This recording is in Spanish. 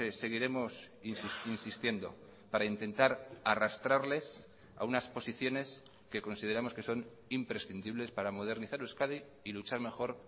seguiremos insistiendo para intentar arrastrarles a unas posiciones que consideramos que son imprescindibles para modernizar euskadi y luchar mejor